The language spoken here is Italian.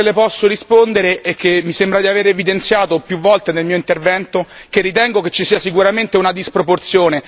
Quello che le posso rispondere è che mi sembra di avere evidenziato più volte nel mio intervento che ritengo ci sia sicuramente una disproporzione.